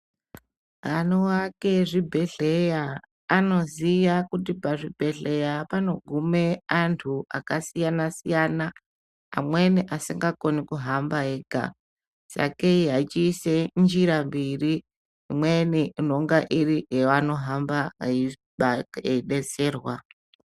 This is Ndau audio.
Anoake zvibhehleya anoziya kuti pazvibhehleya panogume antu akasiyana -siyana amwe asikakoni kuhamba ega sakei achiise njira mbiri imweni inenge iri yeanohamba eidetserwa.